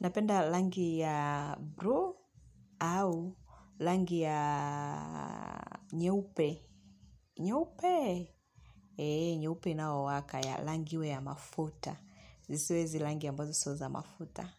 Napenda langi ya bluu au langi ya nyeupe. Nyeupe? Eee, nyeupe inaowaka ya langi iwe ya mafuta. Zisiwe izi langi a mbazo sioza mafuta.